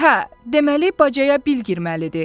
Hə, deməli bacaya Bil girməlidir.